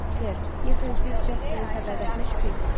Ser, deyəsən siz Casperin sədaqətinə şübhə eləyirsiz.